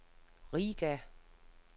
Riga